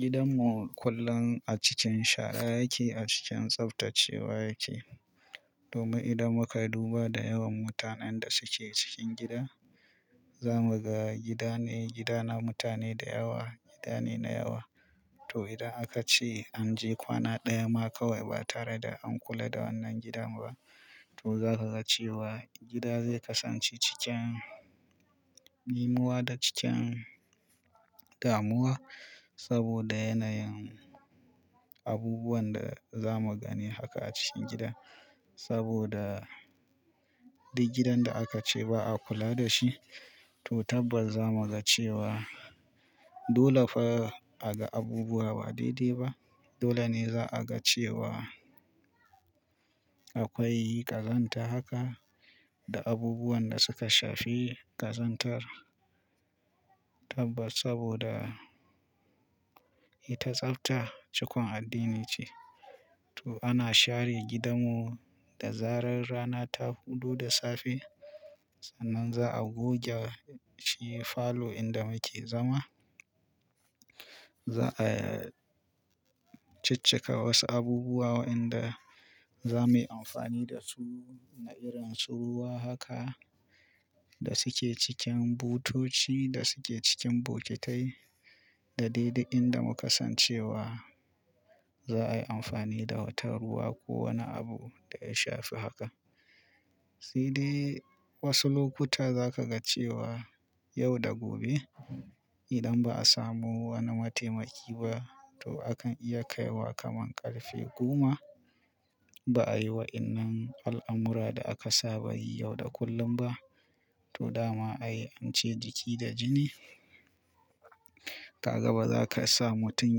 Gidanmu kullum a cikin shara yake, a cikin tsaftacewa yake. Domin idan muka duba da yawan mutanen da suke cikin gida, zamu ga gidane, gidana mutane da yawa, gidane na yawa. To idan aka ce an je kwana ɗaya ma kawai ba tare da an kula da wannan gidan ba, to za ka ga cewa gida zai kasance cikin dimuwa da cikin damuwa. Saboda yanayin abubuwan da za mu gani haka a cikin gida. Saboda duk gidan da aka ce ba a kula da shi, to tabbas za mu ga cewa dole fa a ga abubuwa ba daidai ba. Dole ne za a ga cewa akwai ƙazanta haka da abubuwan da suka shafi ƙazantar. Tabbas saboda ita tsafta cikon addini ce. To ana share gidanmu da zarar rana ta fudu da safe. Sannan za a goge shi falo inda muke zama. Za a ciccika wasu abubuwa waɗanda za muyi amfani da su na irin su ruwa haka da suke cikin butoci da suke cikin bokitai da dai duk inda muka san cewa za a yi amfani da wata ruwa ko wani abu da ya shafi haka. Sai dai wasu lokuta za ka ga cewa yau da gobe idan ba a samu wani mataimaki ba, to akan iya kaiwa kamar ƙarfe goma. Ba a yi wa wannan al'amura da aka saba yi yau da kullum ba. To dama ayi, ance jiki da jini. Ka ga ba za ka sa mutum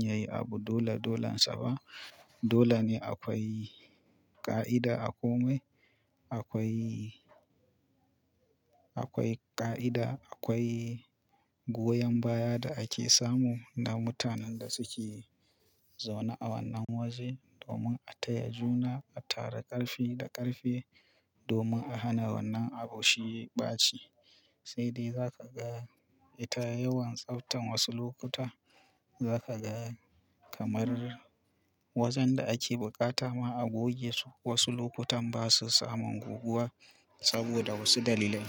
ya yi abu dole dolansa ba. Dole ne akwai ƙa'ida a komai. Akwai, akwai ƙa'ida. Akwai goyon baya da ake samu na mutanen da suke zaune a wannan waje domin a taya juna, a tara ƙarfi da ƙarfe domin a hana wannan abu shiyewa ɓaci. Sai dai za ka ga ita yawan tsaftan wasu lokuta za ka ga kamar wajen da ake buƙata ma a goge su wasu lokutan ba su samun goguwa saboda wasu dalilai.